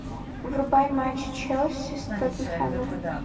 врубай матч челси с тоттенхэмом